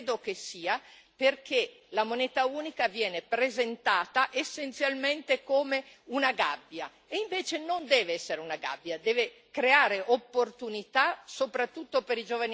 Credo che sia perché la moneta unica viene presentata essenzialmente come una gabbia, e invece non deve essere una gabbia, deve creare opportunità soprattutto per